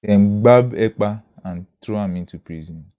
dem gbab ekpa and throw am into prison